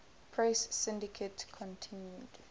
press syndicate continued